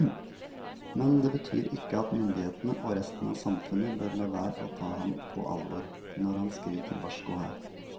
Men det betyr ikke at myndighetene og resten av samfunnet bør la være å ta ham på alvor når han skriker varsko her.